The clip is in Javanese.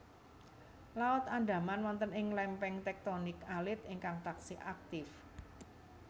Laut Andaman wonten ing lémpéng téktonik alit ingkang taksih aktif